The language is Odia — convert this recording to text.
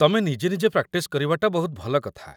ତମେ ନିଜେ ନିଜେ ପ୍ରାକ୍ଟିସ୍ କରିବାଟା ବହୁତ ଭଲ କଥା ।